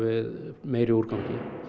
meiri úrgangi